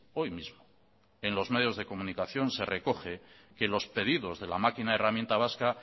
hoy mismo en los medios de comunicación se recoge que los pedidos de la máquina herramienta vasca